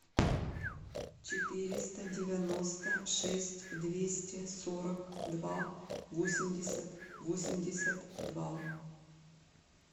четыреста девяносто шесть двести сорок два восемьдесят восемьдесят два